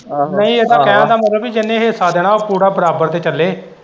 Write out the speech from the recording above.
ਨਈ ਇਹਦਾ ਕਹਿਣ ਦਾ ਮਤਲਬ ਕਿ ਜਿੰਨੇ ਹਿੱਸਾ ਦੇਣਾ ਉਹ ਪੂਰਾ ਬਰਾਬਰ ਤੇ ਚੱਲੇ।